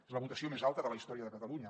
és la votació més alta de la història de catalunya